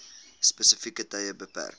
spesifieke tye beperk